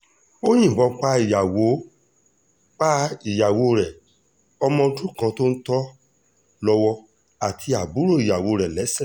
ó yìnbọn pa ìyàwó pa ìyàwó rẹ̀ ọmọ ọdún kan tó ń tò lọ́wọ́ àti àbúrò ìyàwó rẹ̀ lẹ́sẹ̀